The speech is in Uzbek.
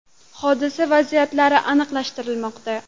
Hodisa vaziyatlari aniqlashtirilmoqda.